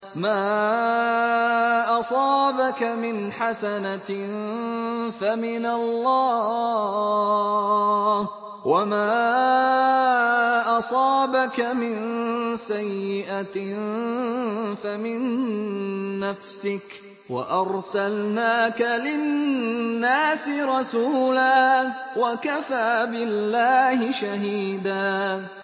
مَّا أَصَابَكَ مِنْ حَسَنَةٍ فَمِنَ اللَّهِ ۖ وَمَا أَصَابَكَ مِن سَيِّئَةٍ فَمِن نَّفْسِكَ ۚ وَأَرْسَلْنَاكَ لِلنَّاسِ رَسُولًا ۚ وَكَفَىٰ بِاللَّهِ شَهِيدًا